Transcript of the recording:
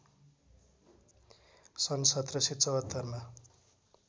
सन् १७७४ मा